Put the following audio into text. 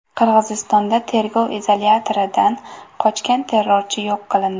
Qirg‘izistonda tergov izolyatoridan qochgan terrorchi yo‘q qilindi.